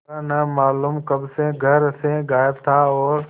वह न मालूम कब से घर से गायब था और